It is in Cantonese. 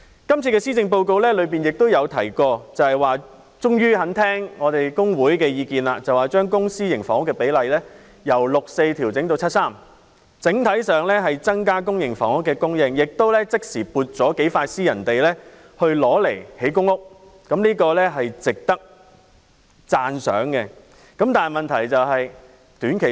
施政報告顯示行政長官這次終於願意聆聽工會的意見，把公私營房屋比例由 6：4 調整至 7：3， 整體上增加公營房屋供應，即時撥出數幅私人土地興建公屋，這是值得讚賞的。